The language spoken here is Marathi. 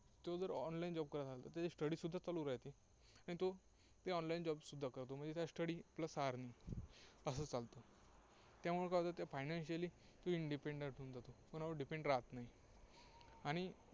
तो जर online job करत असेल तर त्याची study सुद्धा चालू राहते आणि तो online job सुद्धा करतो. म्हणजे काय study plus earning असं चालतं. त्यामुळे काय होतं त्या financially तो independent होऊन जातो. कोणावर depend राहात नाही. आणि